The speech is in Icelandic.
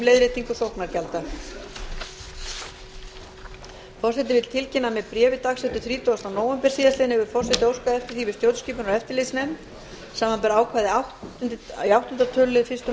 forseti vill tilkynna að með bréfi dagsettu þrítugasta nóvember síðastliðinn hefur forseti óskað eftir því við stjórnskipunar og eftirlitsnefnd samanber ákvæði í áttunda tölulið fyrstu málsgreinar